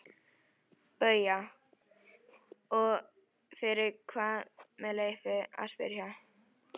BAUJA: Og fyrir hvað með leyfi að spyrja?